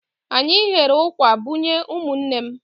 Anyị ghere ụkwà bunye ụmụnne m.